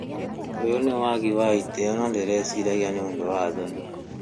ũyũ nĩ wagi wa ĩtĩo na ndĩrecĩragĩa nĩ ũndũ wa thoni